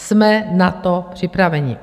Jsme na to připraveni.